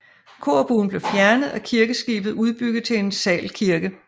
Korbuen blev fjernet og kirkeskibet udbygget til en salkirke